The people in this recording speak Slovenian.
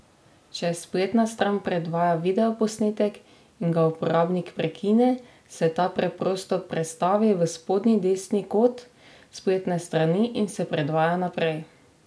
Če spletna stran predvaja videoposnetek in ga uporabnik prekine, se ta preprosto prestavi v spodnji desni kot spletne strani in se predvaja naprej.